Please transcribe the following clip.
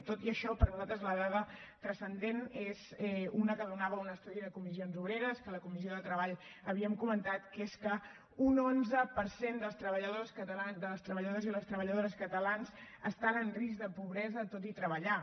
tot i això per nosaltres la dada transcendent és una que donava un estudi de comissions obreres que a la comissió de treball havíem comentat que és que un onze per cent dels treballadors i les treballadores catalans estan en risc de pobresa tot i treballar